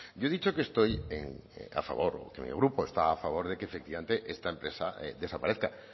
yo he dicho que estoy a favor que mi grupo está a favor de que efectivamente esta empresa desaparezca